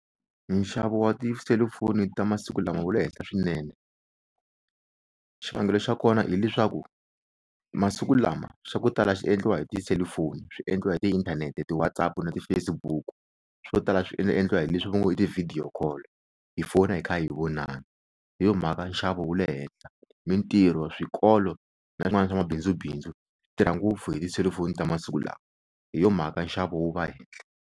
Nxavo wa tiselufoni ta masiku lama wu le henhla swinene xivangelo xa kona hileswaku masiku lama swa ku tala swi endliwa hi tiselufoni swi endliwa hi tiinthanete, ti-WhatsApp-u na ti-Facebook-u, swo tala swi endliwa hi leswi va ngo i ti-video call hi fona hi kha hi vonana hi yo mhaka nxavo wu le henhla mintirho swikolo na swin'wana swa mabindzubindzu swi tirha ngopfu hi tiselufoni ta masiku lawa hi yo mhaka nxavo wu va hehla.